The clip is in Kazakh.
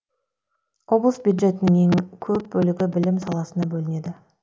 облыс бюджетінің ең көп бөлігі білім саласына бөлінеді